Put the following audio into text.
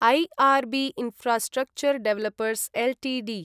IR B infrastructure developers Ltd